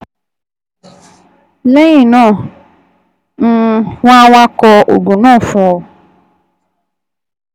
Lẹ́yìn náà, um wọ́n á wá kọ oògùn náà fún ọ